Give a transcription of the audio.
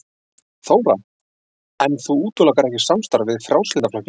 Þóra: En þú útilokar ekki samstarf við Frjálslynda flokkinn?